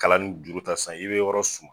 Kalan n juru ta san i be yɔrɔ su